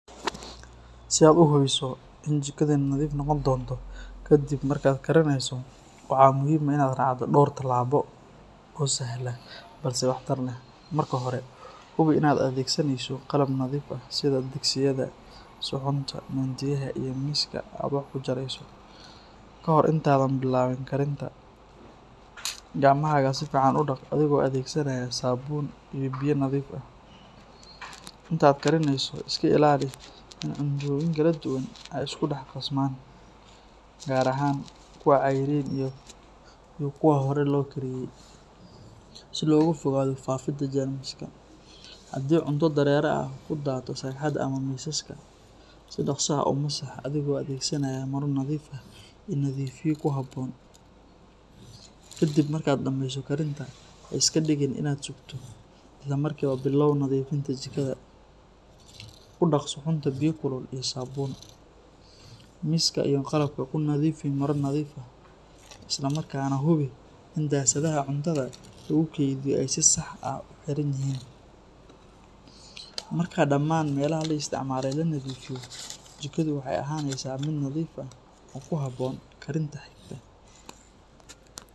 Sii aad uhubiso inay jikada nadif noqoni donto, kadib markad karineyso waxa muhim ah inad racdo dor tilabo oo sahalan balse wax tar leh, marki hore hubi inad adegsaneyso qalab nadif ah sidii digsiyada, sucunta, midiyaha, amah miska aad wax kujareyso kahor intaa adhan bilabin karinta gacmahaga sifican udaq adhigo adegsanayo sabun iyo biyo nadif ah, intat karineyso iska ilali inad cuntoyin kaladuwan aay iskudaxqasman gar aahan kuwa qeyrin ah iyo kuwa hore loo kariye, sii logaa fogado fafinta jermiska, hadi cunto dareraha kudato sharaxata amah miska sii daqsi ah umasax adhigo adegsanayo maro nadif ah oo nadifiyada kuhabon kadib markad dameyso karinta, haiskadigin inad bogte islamarki waa bilaw nadifinta kudac suxunta biya kulul iyo sabun miska iyo qalabka kunadifi maro nadif ah islaa marka nah hubi , dasadaha cuntada lagukediyo sii sax ah uxiranyihin marka daman melaha laa istacmale laa nadifiyo jikada waxay ahaneysa mid nadif ah oo kuhabon karinta xigta.